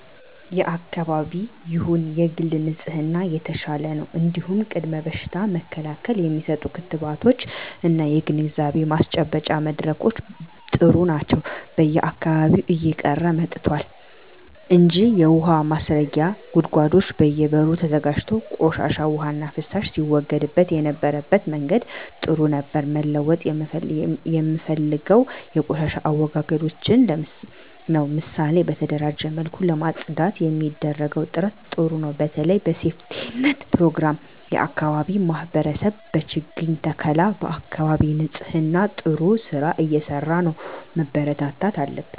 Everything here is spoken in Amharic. የአካባቢ ይሁን የግል ንጽህና የተሻለ ነው እንዲሁም ቅድመ በሽታ መከላከል የሚሰጡ ክትባቶች እና ግንዛቤ ማስጨበጫ መድረኮች ጥሩ ናቸው በየአካባቢው እየቀረ መጥቷል እንጂ የውሀ ማስረጊያ ጉድጓዶች በየ በሩ ተዘጋጅቶ ቆሻሻ ዉሃና ፍሳሽ ሲወገድበት የነበረበት መንገድ ጥሩ ነበር መለወጥ የምፈልገው የቆሻሻ አወጋገዳችንን ነው ምሳሌ በተደራጀ መልኩ ለማፅዳት የሚደረገው ጥረት ጥሩ ነው በተለይ በሴፍትኔት ፕሮግራም የአካባቢ ማህበረሰብ በችግኝ ተከላ በአካባቢ ንፅህና ጥሩ ስራ እየተሰራ ነው መበርታት አለበት